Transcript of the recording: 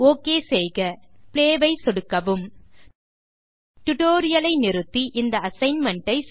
okay செய்க play ஐ சொடுக்கவும் டியூட்டோரியல் ஐ நிறுத்தி இந்த அசைன்மென்ட்